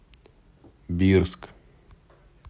бирск